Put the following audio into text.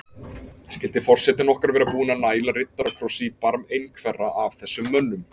Skyldi forsetinn okkar vera búinn að næla riddarakrossi í barm einhverra af þessum mönnum?